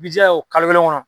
I b'i jija o kalo kelen kɔnɔ.